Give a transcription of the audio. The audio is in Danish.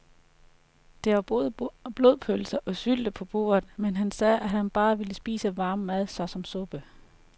Der var både blodpølse og sylte på bordet, men han sagde, at han bare ville spise varm mad såsom suppe.